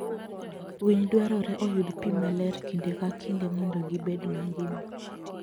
Winy dwarore oyud pi maler kinde ka kinde mondo gibed mangima.